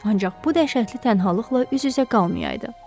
Ancaq bu dəhşətli tənhaılıqla üz-üzə qalmayıdı.